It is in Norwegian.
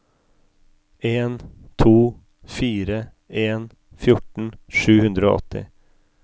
en to fire en fjorten sju hundre og åtti